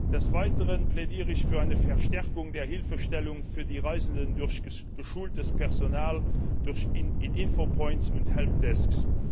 Des Weiteren plädiere ich für eine Verstärkung der Hilfestellung für die Reisenden durch geschultes Personal in Infopoints und Helpdesks.